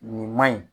Nin man ɲi